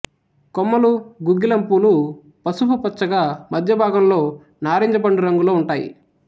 కొమ్మలు గుగ్గిలం పూలు పసుపు పచ్చగా మధ్యభాగంలో నారింజ పండు రంగులో ఉంటాయి